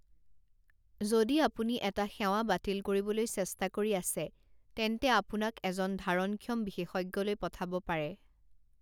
যদি আপুনি এটা সেৱা বাতিল কৰিবলৈ চেষ্টা কৰি আছে, তেন্তে আপোনাক এজন ধাৰণক্ষম বিশেষজ্ঞলৈ পঠাব পাৰে।